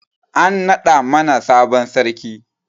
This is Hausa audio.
An naɗa mana sabon sarki